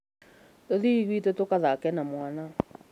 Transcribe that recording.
Tũthiĩ gwĩtu tũgathake na mwana